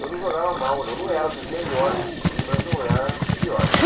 Eu não jogava mal, não era dos melhores, mas não era dos piores.